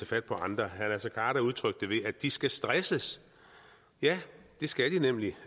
fat på andre herre naser khader udtrykte det at de skal stresses ja det skal de nemlig